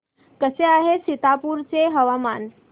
कसे आहे सीतापुर चे हवामान